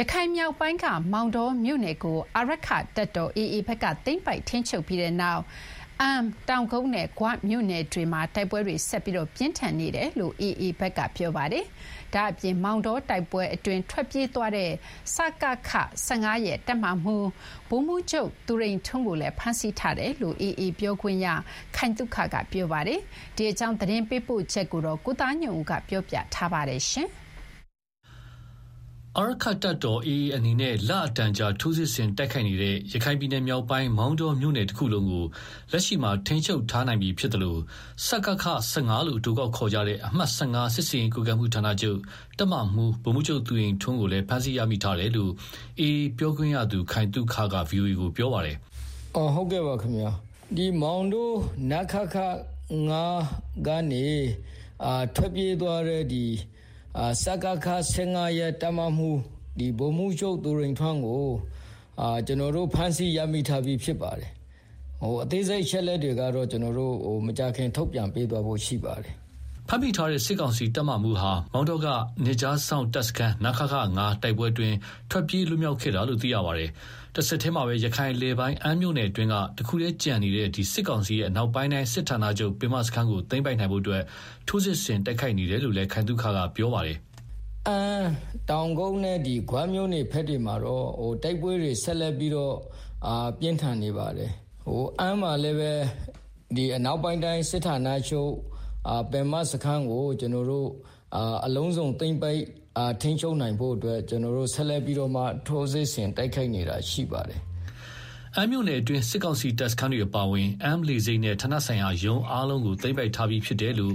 ရခိုင်မြောက်ပိုင်းက မောင်တောမြို့နယ်ကို အာရက္ခတပ်တော် AA ဘက်က သိမ်းပိုက်ထိန်းချုပ်ပြီးနောက် အမ်း၊တောင်ကုတ်နဲ့ ဂွမြို့နယ်တွေမှာ တိုက်ပွဲတွေ ဆက်လက်ပြင်းထန်နေတယ်လို့ AA ဘက်က ပြောပါတယ်။ ဒါ့အပြင် မောင်တောတိုက်ပွဲအတွင်း ထွက်ပြေးသွားတဲ့ စကခ ၁၅ ရဲ့တပ်မမှူး ဗိုလ်မှူးချုပ် သူရိန်ထွန်းကိုလည်းဖမ်းဆီးထားတယ်လို့လည်း AAပြောခွင့်ရ ခိုင်သုခက ပြောပါတယ်။ ဒီအကြောင်းရန်ကုန်က သတင်းပေးပို့ထားပါတယ်။ အာရက္ခတပ်တော် AA အနေနဲ့ လအတော်ကြာထိုးစစ်ဆင်တိုက်ခိုက်နေတဲ့ ရခိုင်ပြည်နယ် မြောက်ပိုင်းက မောင်တောမြို့နယ်တခုလုံးကို လက်ရှိမှာထိန်းချုပ်ထားနိုင်ပြီးဖြစ်သလို စကခ ၁၅ လို့ အတိုကောက်ခေါ်တဲ့ အမှတ် ၁၅ စစ်ဆင်ရေးကွပ်ကဲမှု ဌာနချုပ် တပ်မမှူး ဗိုလ်မှူးချုပ်သူရိန်ထွန်း ကိုလည်းဖမ်းဆီးရမိထားတယ်လို့ AAပြောခွင့်ရ ခိုင်သုခကဗွီအိုအေကို ပြောပါတယ်။ “ မောင်တော နခခ-၅ ကနေ ထွက်ပြေးသွားတဲ့ စကခ ၁၅ ရဲ့တပ်မမှူး ဗိုလ်မှူးချုပ် သူရိန်ထွန်းကို ကျနော်တို့ ဖမ်းဆီးရမိထားပြီးဖြစ်ပါတယ်။ အသေးစိတ်အချက်အလက်ကိုတော့ မကြာခင်ထုတ်ပြန် ပေးသွားဖို့ရှိပါတယ်။” အဲဒီဖမ်းမိတဲ့ စစ်ကောင်စီတပ်မမှုးဟာ မောင်တောက နယ်ခြားစောင့် တပ်စခန်း နခခ -၅ တိုက်ပွဲအတွင်း ထွက်ပြေးလွတ်မြောက်ခဲ့တာလို့ သိရပါတယ်။ တဆက်တည်းမှာ ရခိုင်အလယ်ပိုင်း အမ်းမြို့နယ်အတွင်းက တခုတည်းကျန်ရှိနေသေးတဲ့ စစ်ကောင်စီရဲ့ အနောက်ပိုင်းတိုင်းစစ်ဌာနချုပ် ပင်မစခန်းကို သိမ်းပိုက်နိုင်ဖို့ ထိုးစစ်ဆင်တိုက်ခိုက်နေတယ်လို့ သူက ပြောပါတယ်။ “ အမ်း တောင်ကုတ်နဲ့ ဂွမြို့နယ်ဘက်တွေမှာတော့ တိုက်ပွဲတွေ ဆက်လက်ပြင်းထန်နေပါတယ်။ အမ်းမှာလည်း အနောက်ပိုင်းတိုင်းစစ်ဌာနချုပ် ပင်မစခန်းကို အလုံးစုံသိမ်းပိုက်ထိန်းချုပ်နိုင်ဖို့ ကျနော်တို့ဆက်လက်ပြီးတော့ ထိုးစစ်ဆင်တိုက်ခိုက်နေတာဖြစ်ပါတယ်။” အမ်းမြို့နယ်အတွင်း စစ်ကောင်စီတပ်စခန်းတွေ အပါအဝင် အမ်းလေဆိပ်နဲ့ ဌာနဆိုင်ရာရုံးအားလုံးကို သိမ်းပိုက်ထားပြီးဖြစ်တယ်လို့လ